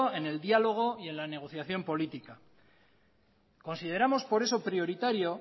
en el diálogo y en la negociación política por eso consideramos prioritario